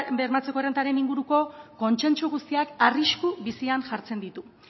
bermatzeko errentaren inguruko kontsentsu guztiak arrisku bizian jartzen ditu